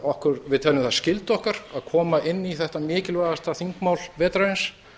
við teljum það skyldu okkar að koma inn í þetta mikilvægasta þingmál vetrarins